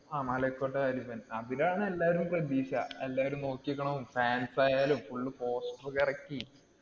ആ മലൈക്കോട്ട വാലിഭൻ. അതിലാണ് എല്ലാരും പ്രതീക്ഷ. എല്ലാരും നോക്കിനിൽക്കണതും fans ആയാലും full poster ഒക്കെ ഇറക്കി.